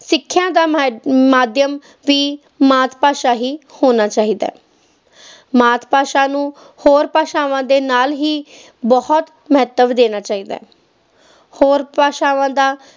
ਸਿਖਿਆ ਦਾ ਮਾ~ ਮਾਧਿਅਮ ਵੀ ਮਾਤਾ ਭਾਸ਼ਾ ਹੀ ਹੋਣਾ ਚਾਹੀਦਾ ਹੈ ਮਾਤ ਭਾਸ਼ਾ ਨੂੰ ਹੋਰ ਭਾਸ਼ਾਵਾਂ ਦੇ ਨਾਲ ਹੀ ਬਹੁਤ ਮਹੱਤਵ ਦੇਣਾ ਚਾਹੀਦਾ ਹੈ, ਹੋਰ ਭਾਸ਼ਾਵਾਂ ਦਾ